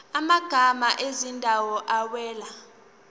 amagama ezindawo awela